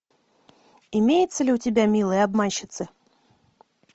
имеется ли у тебя милые обманщицы